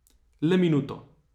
Le minuto.